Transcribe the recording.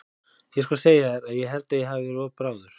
Ég skal segja þér að ég held að ég hafi verið of bráður.